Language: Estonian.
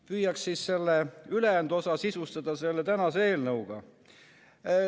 Püüaks kõne ülejäänud osa sisustada selle tänase eelnõuga.